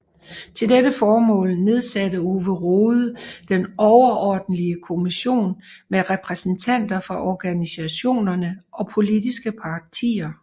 Til dette formål nedsatte Ove Rode Den Overordentlige Kommission med repræsentanter fra organisationerne og politiske partier